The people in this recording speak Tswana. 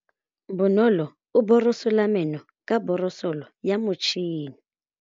Bonolô o borosola meno ka borosolo ya motšhine.